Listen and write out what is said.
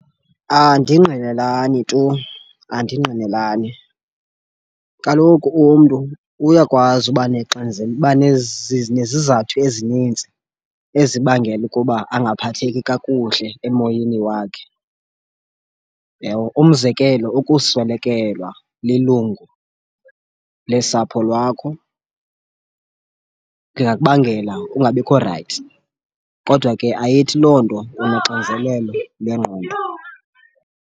Andingqinelani tu andingqinelani kaloku umntu uyakwazi uba uba nezizathu ezininzi ezibangela ukuba angaphatheki kakuhle emoyeni wakhe, uyabo? Umzekelo, ukuswelekelwa lilungu lesapho lwakho lingakubangela ungabikho rayithi kodwa ke ayithi loo nto unoxinzelelo lwengqondo.